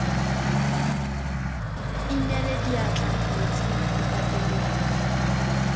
inela diatla metsing re pateleditswe